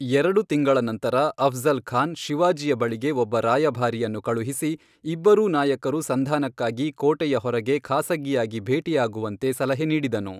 ಎರಡು ತಿಂಗಳ ನಂತರ, ಅಫ್ಜಲ್ ಖಾನ್ ಶಿವಾಜಿಯ ಬಳಿಗೆ ಒಬ್ಬ ರಾಯಭಾರಿಯನ್ನು ಕಳುಹಿಸಿ ಇಬ್ಬರೂ ನಾಯಕರು ಸಂಧಾನಕ್ಕಾಗಿ ಕೋಟೆಯ ಹೊರಗೆ ಖಾಸಗಿಯಾಗಿ ಭೇಟಿಯಾಗುವಂತೆ ಸಲಹೆ ನೀಡಿದನು.